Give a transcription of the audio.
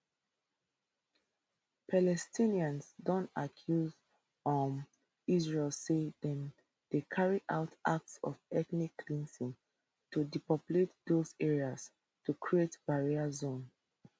palestinians don accuse um israel say dem dey carry out acts of ethnic cleansing to depopulate dose areas to create barrier zone